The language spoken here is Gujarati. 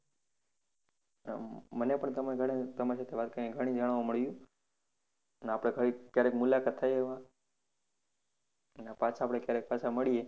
હમ પણ તમે ઘણી તમારી સાથે વાત કરીને ઘણું જાણવા મળ્યું અને આપણે ભાઈ કયારેક મુલાકાત થાય એવા અને પાછા આપણે ક્યારેક પાછા મળીએ.